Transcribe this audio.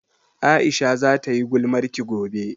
Aisha za ta yi gulmarki gobe